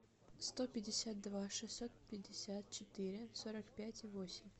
сто пятьдесят два шестьсот пятьдесят четыре сорок пять восемь